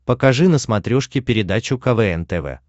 покажи на смотрешке передачу квн тв